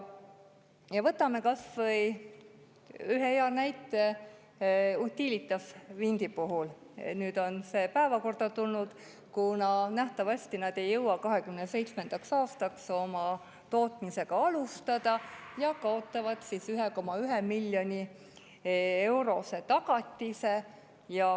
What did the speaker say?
Ja võtame kas või ühe hea näite, Utilitas Windi puhul, nüüd on see päevakorda tulnud, kuna nähtavasti nad ei jõua 2027. aastaks oma tootmisega alustada ja kaotavad 1,1 miljoni euro suuruse tagatise.